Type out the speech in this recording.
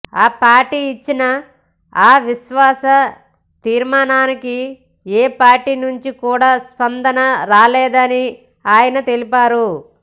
ఆ పార్టీ ఇచ్చిన అవిశ్వాస తీర్మానానికి ఏ పార్టీ నుంచి కూడా స్పందన రాలేదని ఆయన తెలిపారు